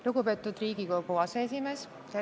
Lugupeetud Riigikogu aseesimees!